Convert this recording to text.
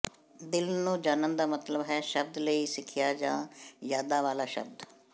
ਦਿਲ ਨੂੰ ਜਾਣਨ ਦਾ ਮਤਲਬ ਹੈ ਸ਼ਬਦ ਲਈ ਸਿਖਿਆ ਜਾਂ ਯਾਦਾਂ ਵਾਲਾ ਸ਼ਬਦ